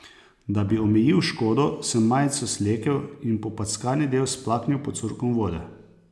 Da bi omejil škodo, sem majico slekel in popackani del splaknil pod curkom vode.